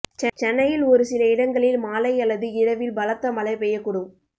சென்னையில் ஒரு சில இடங்களில் மாலை அல்லது இரவில் பலத்த மழை பெய்யக்கூடும்